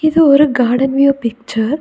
இது ஒரு garden view picture .